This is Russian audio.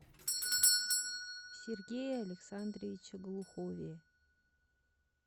сергее александровиче глухове